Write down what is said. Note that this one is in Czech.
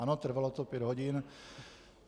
Ano, trvalo to pět hodin.